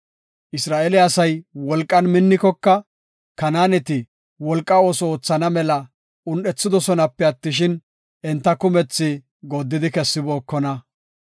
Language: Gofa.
Isra7eele asay wolqan minnikoka, Kanaaneti wolqa ooso oothana mela un7ethidosonape attishin, enta kumethi gooddidi kessibookona.